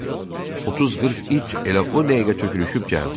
30-40 it elə o dəqiqə tökülüşüb gəldi.